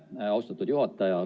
Aitäh, austatud juhataja!